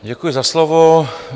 Děkuji za slovo.